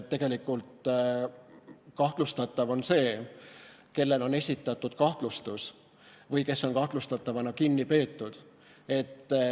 Tegelikult on kahtlustatav see, kellele on esitatud kahtlustus või kes on kahtlustatavana kinni peetud.